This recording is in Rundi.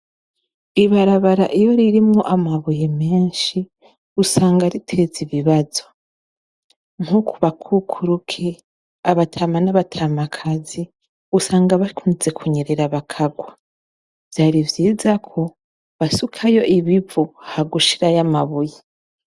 Ibarabara iyo ririmwo amabuye menshi usanga riteza ibibazo. Nko ku bakukuruke, anatama n'abatamakazi usanga bakunze kunyerera bakagwa. Vyari vyiza ko basukayo ibivu ha gushiraho amabuye.